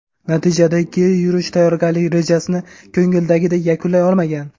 Natijada Keyrush tayyorgarlik rejasini ko‘ngildagidek yakunlay olmagan.